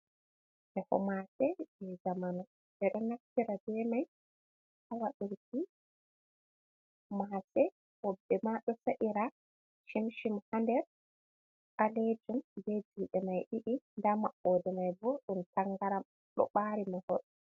Feho mase je zamanu, ɓe ɗo naftira ɓe mai ha waɗurki mase, woɓɓe ma ɗo sa’ira chimchim ha ɗer ɓalejum ɓe juɗe mai ɗiɗi ɗa maɓoɗe mai ɓo ɗum tangaram ɗo ɓari mahol.